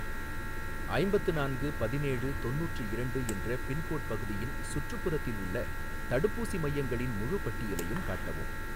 ஐம்பத்து நான்கு பதினேழு தொண்ணூற்று இரண்டு என்ற பின்கோட் பகுதியின் சுற்றுப்புறத்தில் உள்ள தடுப்பூசி மையங்களின் முழுப் பட்டியலையும் காட்டவும்.